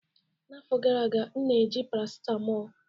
N'afọ gara aga, m na-eji paracetamol